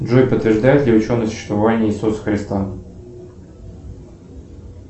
джой подтверждают ли ученые существование иисуса христа